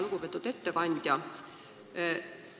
Lugupeetud ettekandja!